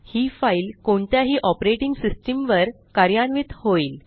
ही file कोणत्याही operating system वर कार्यान्वित होईल